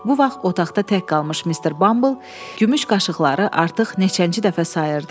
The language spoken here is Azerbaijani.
Bu vaxt otaqda tək qalmış mister Bumble gümüş qaşıqları artıq neçənci dəfə sayırdı.